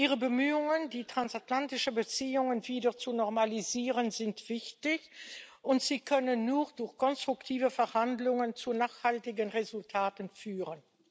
Ihre Bemühungen, die transatlantischen Beziehungen wieder zu normalisieren, sind wichtig, und sie können nur durch konstruktive Verhandlungen zu nachhaltigen Resultaten führen.